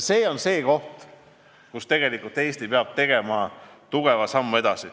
See on see koht, kus Eesti peab tegema tugeva sammu edasi.